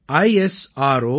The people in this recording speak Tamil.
gov